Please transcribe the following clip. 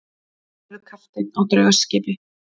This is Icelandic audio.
Hann verður kapteinn á draugaskipi.